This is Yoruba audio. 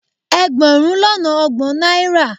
Ẹgbẹ̀rún lọ́nà ọgbọ̀n náírà